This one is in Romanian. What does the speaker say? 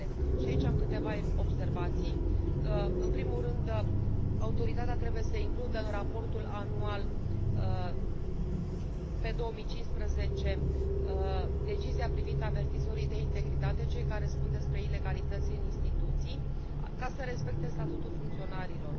Și aici am câteva observații în primul rând, Autoritatea trebuie să includă în raportul anual pe 2015 decizia privind avertizorii de integritate cei care spun despre ilegalități în instituții ca să respecte Statutul funcționarilor.